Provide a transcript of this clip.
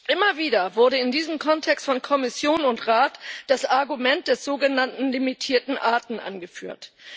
Immer wieder wurde in diesem Kontext von Kommission und Rat das Argument der sogenannten limitierten Arten angeführt.